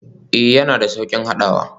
Ee, yana da sauƙin haɗawa.